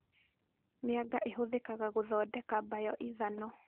Mĩanga ĩhũthĩkaga gũthondeka mbayo-ithano